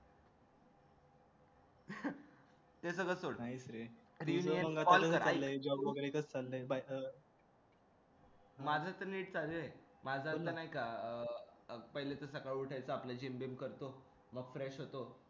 ते सगळं सोड माझं नीट चाललंय माझं असं नाही का पहिले सकाळी असं उठायचं आपले जिम बीम करतो मग